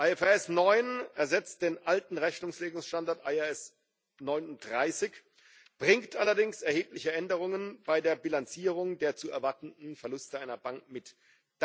IFRS 9 ersetzt den alten Rechnungslegungsstandard IAS 39, bringt allerdings erhebliche Änderungen bei der Bilanzierung der zu erwartenden Verluste einer Bank mit sich.